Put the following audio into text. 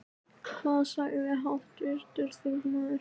Hvað sagði háttvirtur þingmaður?